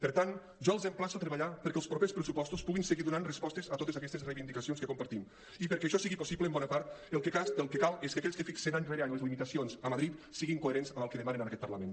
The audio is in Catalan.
per tant jo els emplaço a treballar perquè els propers pressupostos puguin seguir donant respostes a totes aquestes reivindicacions que compartim i perquè això sigui possible en bona part el que cal és que aquells que fixen any rere any les limitacions a madrid siguin coherents amb el que demanen en aquest parlament